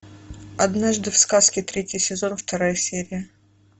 однажды в сказке третий сезон вторая серия